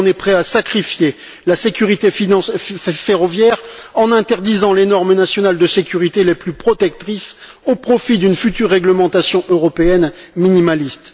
Alors on est prêt à sacrifier la sécurité ferroviaire en interdisant les normes nationales de sécurité les plus protectrices au profit d'une future réglementation européenne minimaliste.